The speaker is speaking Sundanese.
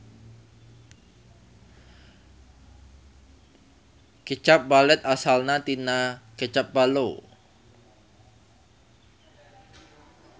Kecap balet asalna tina kecap ballo.